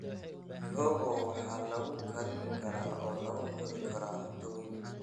Mihogo waxaa la karin karaa oo lagu cuni karaa cunto weyn.